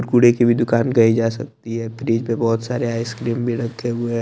कूड़े की भी दुकान कही जा सकती है फ्रिज पे बहुत सारी आइसक्रीम भी रखे हुए--